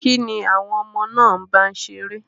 Kín ni àwọn ọmọ náà ń bá ṣeré?